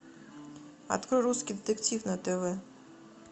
открой русский детектив на тв